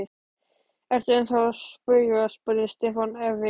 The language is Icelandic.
Ertu ennþá að spauga? spurði Stefán efins.